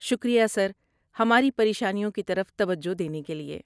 شکریہ سر، ہماری پریشانیوں کی طرف توجہ دینے کے لیے۔